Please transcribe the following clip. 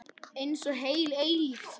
Einsog heil eilífð.